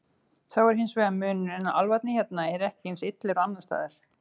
Sá er hins vegar munurinn að álfarnir hérna eru ekki eins illir og annars staðar.